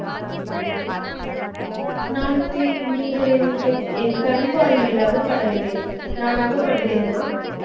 நான் நீங்கள் என் கண் பார்வையில் அகபடவில்லை நான் அகப்படுகிறேனா